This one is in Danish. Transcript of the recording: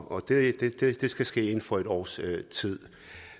og det skal ske inden for et års tid